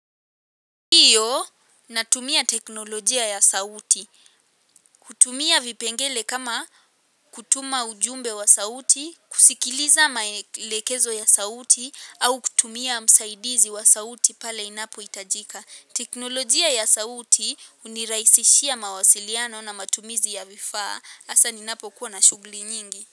Ndio natumia teknologia ya sauti kutumia vipengele kama kutuma ujumbe wa sauti kusikiliza maelekezo ya sauti au kutumia msaidizi wa sauti pale inapoitajika teknologia ya sauti uniraisishia mawasiliano na matumizi ya vifaa asa ninapokuwa na shuguli nyingi.